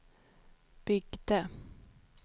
byggde